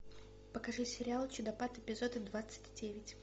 покажи сериал чудопад эпизод двадцать девять